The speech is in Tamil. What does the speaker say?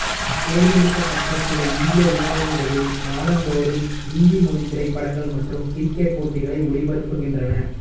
தேர்ந்தெடுக்கப்பட்ட சில இந்திய உணவகங்களில் வாரந்தோறும் இந்தி மொழித் திரைப்படங்கள் மற்றும் கிரிக்கெட் போட்டிகளை ஒளிபரப்புகின்றன